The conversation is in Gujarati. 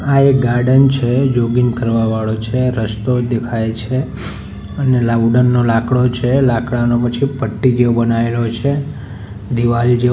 આ એક ગાર્ડન છે જોગિંગ કરવા વાળો છે રસ્તો દેખાય છે અને લાઉડન નો લાકડો છે લાકડાનો પછી પટ્ટી જેવો બનાયેલો છે દિવાલ જેવો.